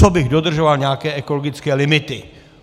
Co bych dodržoval nějaké ekologické limity?